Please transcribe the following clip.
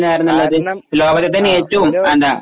കാരണം